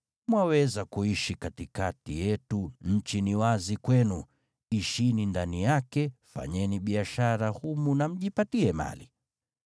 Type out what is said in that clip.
Mwaweza kuishi katikati yetu, nchi ni wazi kwenu. Ishini ndani yake, fanyeni biashara humu na mjipatie mali.”